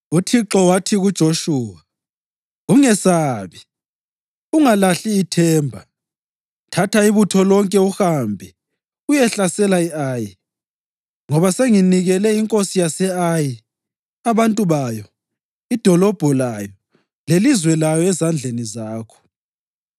UThixo wathi kuJoshuwa, “Ungesabi, ungalahli ithemba. Thatha ibutho lonke uhambe uyehlasela i-Ayi, ngoba senginikele inkosi yase-Ayi, abantu bayo, idolobho layo lelizwe layo ezandleni zakho.